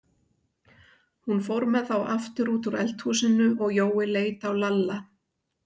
Hún fór með þá aftur út úr eldhúsinu og Jói leit á Lalla.